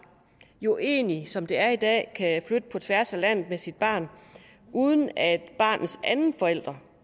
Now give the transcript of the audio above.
jo egentlig som det er i dag kan flytte på tværs af landet med sit barn uden at barnets anden forælder